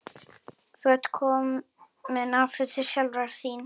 Þú ert komin aftur til sjálfrar þín.